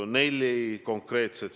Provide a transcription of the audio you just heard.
Kõigepealt, punkt üks.